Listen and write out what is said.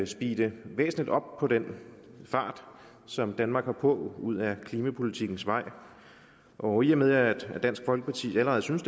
speede væsentligt op for den fart som danmark har på ud ad klimapolitikkens vej og i og med at dansk folkeparti allerede synes